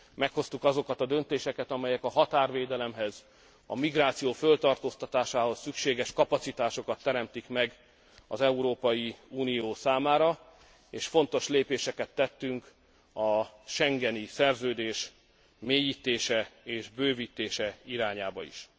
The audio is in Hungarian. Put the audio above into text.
Meghoztuk azokat a döntéseket, amelyek a határvédelemhez, a migráció föltartóztatásához szükséges kapacitásokat teremtik meg az Európai Unió számára, és fontos lépéseket tettünk a schengeni szerződés mélyítése és bővítése irányába is.